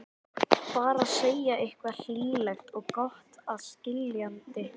Bara segja eitthvað hlýlegt og gott að skilnaði.